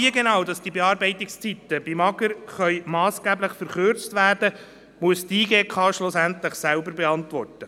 Wie die Bearbeitungszeiten beim AGR massgeblich verkürzt werden können, muss die JGK schlussendlich selber beantworten.